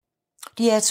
DR2